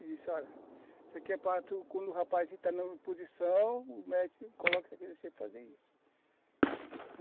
E disse, olha, isso aqui é para tu, quando o rapaz está na posição, o médico coloca isso aqui para você fazer isso.